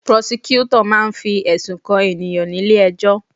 Prosecutor máà ń fi ẹ̀sùn kan ènìyàn nílé ẹjọ́